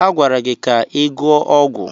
A gwara gị ka ị gụọ ọgwụ.